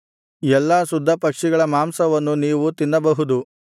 ಎಲ್ಲಾ ಶುದ್ಧ ಪಕ್ಷಿಗಳ ಮಾಂಸವನ್ನು ನೀವು ತಿನ್ನಬಹುದು